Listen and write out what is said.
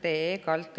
Noogutate.